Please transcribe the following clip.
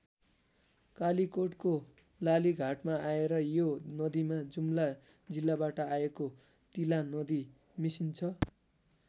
कालीकोटको लालीघाटमा आएर यो नदीमा जुम्ला जिल्लाबाट आएको तिलानदी मिसिन्छ।